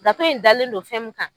Gafe in dalen don fɛn min kan.